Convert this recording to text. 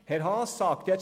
Herr Haas sagt jetzt: